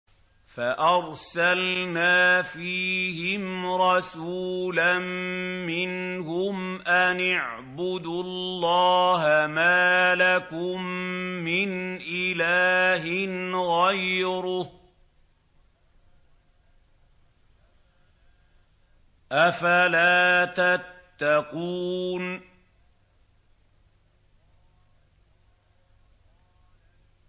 فَأَرْسَلْنَا فِيهِمْ رَسُولًا مِّنْهُمْ أَنِ اعْبُدُوا اللَّهَ مَا لَكُم مِّنْ إِلَٰهٍ غَيْرُهُ ۖ أَفَلَا تَتَّقُونَ